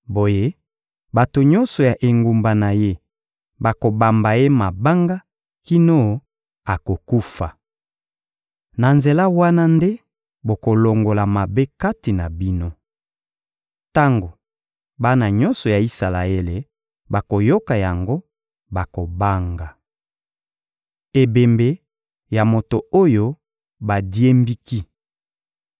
Boye bato nyonso ya engumba na ye bakobamba ye mabanga kino akokufa. Na nzela wana nde bokolongola mabe kati na bino. Tango bana nyonso ya Isalaele bakoyoka yango, bakobanga. Ebembe ya moto oyo badiembiki